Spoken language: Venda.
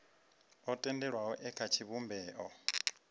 o tendelwaho e kha tshivhumbeo